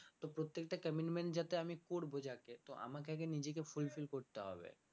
তো প্রত্যেকটা commitment যাতে আমি যাকে তো আমাকে আগে নিজেকে fulfill করতে হবে